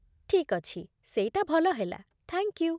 ଠିକ୍ ଅଛି, ସେଇଟା ଭଲ ହେଲା, ଥ୍ୟାଙ୍କ୍ ୟୁ!